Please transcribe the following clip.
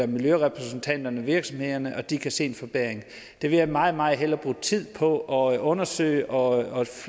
miljørepræsentanterne virksomhederne at de kan se en forbedring det vil jeg meget meget hellere bruge tid på at undersøge og